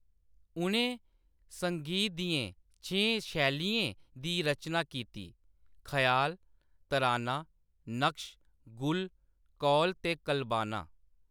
उʼनें संगीत दियें छें शैलियें दी रचना कीती: ख्याल, तराना, नक्श, गुल, कौल ते कलबाना।